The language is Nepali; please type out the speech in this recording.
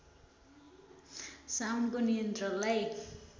साउन्डको नियन्त्रणलाई